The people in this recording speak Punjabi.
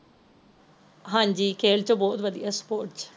ਹਾਂਜੀ ਖੇਲ ਚ ਬਹੁਤ ਵਧਿਆ sports